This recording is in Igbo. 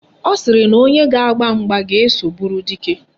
Ọ sịrị na onye ga-agba mgba ga-eso bụrụ dike.